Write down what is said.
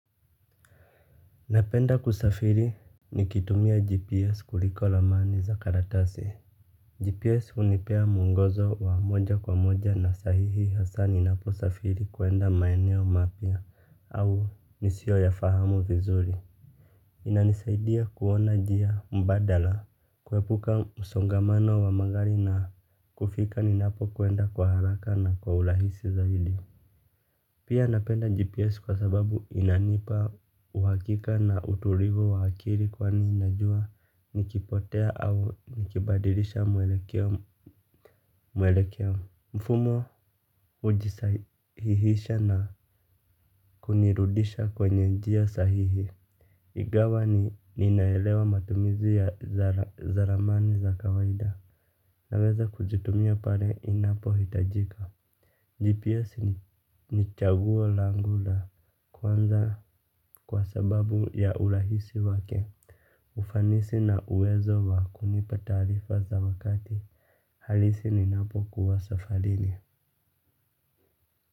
Napenda kusafiri nikitumia GPS kuliko ramani za karatasi. GPS hunipea mwongozo wa moja kwa moja na sahihi hasa ninapo safiri kwenda maeneo mapya au nisioyafahamu vizuri. Inanisaidia kuona njia mbadala, kuepuka msongamano wa magari na kufika ninapo kwenda kwa haraka na kwa urahisi zaidi. Pia napenda GPS kwa sababu inanipa uhakika na utulivu wa akili kwani najua nikipotea au nikibadirisha mwelekeo mfumo hujisahihisha na kunirudisha kwenye njia sahihi. Igawa ninaelewa matumizi ya ramani za kawaida naweza kuzitumia pale inapohitajika. GPS ni chaguo langu la kwanza kwa sababu ya urahisi wake. Ufanisi na uwezo wa kunipa taarifa za wakati. Halisi ninapokuwa safarini.